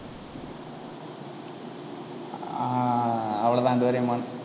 ஆஹ் அவ்வளவுதான் டோரேமான்